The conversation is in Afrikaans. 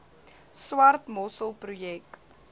swart mossel projek